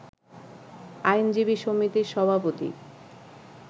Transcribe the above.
আইনজীবী সমিতির সভাপতি